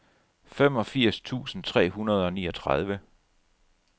femogfirs tusind tre hundrede og niogtredive